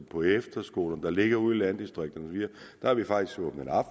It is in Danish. på efterskolerne der ligger ude i landdistrikterne har vi faktisk åbnet op